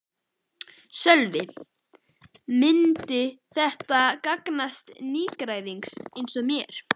Sölvi: Myndi þetta gagnast nýgræðingi eins og mér?